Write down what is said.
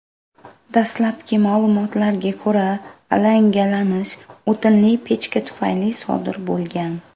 Dastlabki ma’lumotlarga ko‘ra, alangalanish o‘tinli pechka tufayli sodir bo‘lgan.